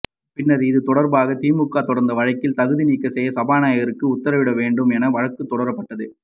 பின்னர் இது தொடர்பாக திமுக தொடர்ந்த வழக்கில் தகுநீக்கம் செய்ய சபாநாயகருக்கு உத்தரவு இட வேண்டும் என வழக்கு தொடரப்பட்டது